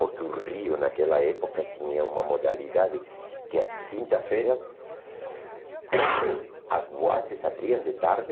Porque o Rio, naquela época, tinha uma modalidade que as quintas-feiras as boates abriam de tarde